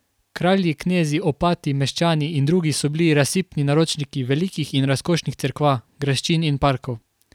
Kralji, knezi, opati, meščani in drugi so bili razsipni naročniki velikih in razkošnih cerkva, graščin in parkov.